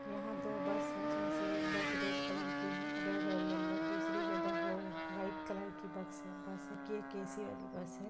यहाँ दो बस है जिसमे एक बस रेड कलर की हैं रेड ओर येलो दूसरी जो हैं व्हाइट कलर की बक्स है बस है एक ए_सी वाली बस हैं ।